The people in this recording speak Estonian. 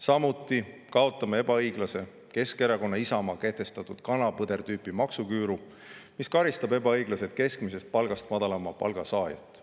Samuti kaotame Keskerakonna ja Isamaa kehtestatud ebaõiglase kana-põder-tüüpi maksuküüru, mis karistab ebaõiglaselt keskmisest palgast madalama palga saajat.